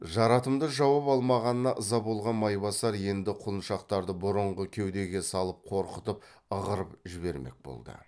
жарытымды жауап алмағанына ыза болған майбасар енді құлыншақтарды бұрынғы кеудеге салып қорқытып ығырып жібермек болды